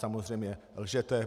Samozřejmě lžete.